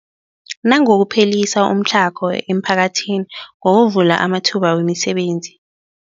Nangokuphelisa umtlhago emiphakathini ngokuvula amathuba wemisebenzi.